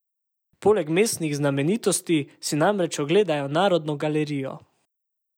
Poleg mestnih znamenitosti si namreč ogledajo Narodno galerijo.